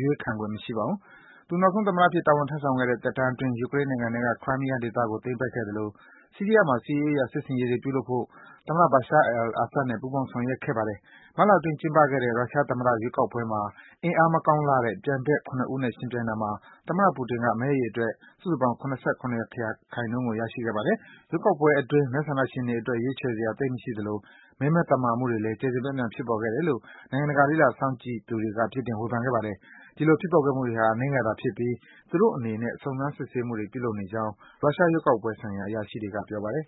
ရွေးခံခွင့် မရှိပါဘူး။ သူနောက်ဆုံး သမ္မတအဖြစ် တာဝန်ထမ်းဆောင်ခဲ့တဲ့ သက်တမ်းအတွင်း ယူကရိန်းနိုင်ငံထဲက Crimea ဒေသကို သိမ်းပိုက်ခဲ့သလို ဆီးရီးယားနိုင်ငံမှာ စစ်ရေးအရ စစ်ဆင်ရေးပြုလုပ်ဖို့ သမ္မတ Basha al-Assad နဲ့ ပူးပေါင်းဆောင် ဆောင်ရွက်ခဲ့ပါတယ်။ မတ်လအတွင်း ကျင်းပခဲ့တဲ့ ရုရှား သမ္မတ ရွေးကောက်ပွဲမှာ အင်အားမကောင်းလှတဲ့ ပြိုင်ဘက် ၇ ဦးနဲ့ ယှဉ်ပြိုင်တာမှာ သမ္မတ Putin က မဲအရေအတွက် စုစုပေါင်းရဲ့ ၇၇% ကို ရရှိခဲ့ပါတယ်။ ရွေးကောက်ပွဲအတွင်း မဲဆန္ဒရှင်တွေအတွက် ရွေးချယ်စရာ သိပ်မရှိခဲ့သလို မဲမသမာမှုတွေလည်း ကျယ်ကျယ်ပြန့်ပြန့် ဖြစ်ပေါ်ခဲ့တယ်လို့ နိုင်ငံတကာ လေ့လာစောင့်ကြည့်သူတွေက ပြစ်တင် ဝေဖန်ခဲ့ပါတယ်။ အဲဒီလို ဖြစ်ပေါ်ခဲ့မှုတွေဟာ အနည်းငယ်သာဖြစ်ပြီး သူတို့အနေနဲ့ စုံစမ်း စစ်ဆေးမှုတွေ ပြုလုပ်နေကြောင်း ရုရှား ရွေးကောက်ပွဲဆိုင်ရာ အရာရှိတွေက ပြောပါတယ်